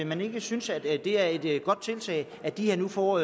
man ikke synes det er et godt tiltag at de nu får